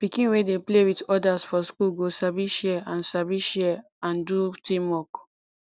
pikin wey dey play with others for school go sabi share and sabi share and do teamwork